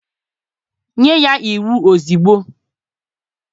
Nye ya iwu ozugbo!